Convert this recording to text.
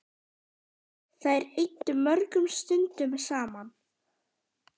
Þær eyddu mörgum stundum saman.